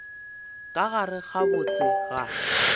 ka gare ga botse ga